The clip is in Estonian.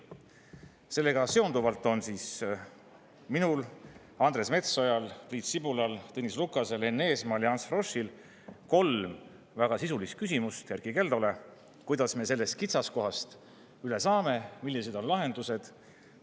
Sellega seonduvalt on minul, Andres Metsojal, Priit Sibulal, Tõnis Lukasel, Enn Eesmaal ja Ants Froschil kolm väga sisulist küsimust Erkki Keldole, kuidas me sellest kitsaskohast üle saame, millised on lahendused.